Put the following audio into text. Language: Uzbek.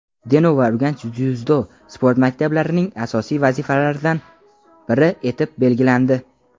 Denov va Urganch dzyudo sport maktablarining asosiy vazifalaridan biri etib belgilandi.